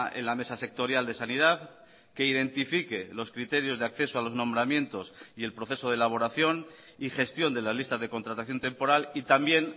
en la mesa sectorial de sanidad que identifique los criterios de acceso a los nombramientos y el proceso de elaboración y gestión de las listas de contratación temporal y también